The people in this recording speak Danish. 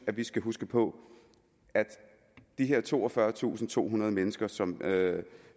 vi skal huske på at de her toogfyrretusinde og tohundrede mennesker som